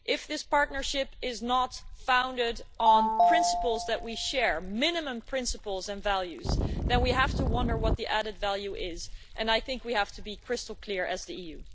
If this partnership is not founded on principles that we share, minimum principles and values, then we have to wonder what the added value is, and I think we have to be crystal clear as the EU.